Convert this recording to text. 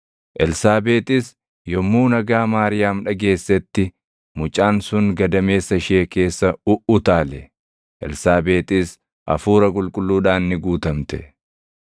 Elsaabeexis yommuu nagaa Maariyaam dhageessetti mucaan sun gadameessa ishee keessa uʼutaale. Elsaabeexis Hafuura Qulqulluudhaan ni guutamte.